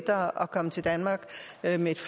andet